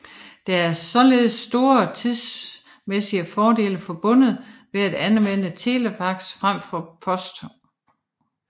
Der er således store tidsmæssige fordele forbundet ved at anvende telefax frem for post